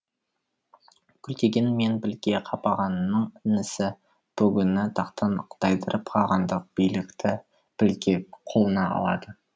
күлтегін мен білге қапағанның інісі бөгүні тақтан тайдырып қағандық билікті білге қолына алады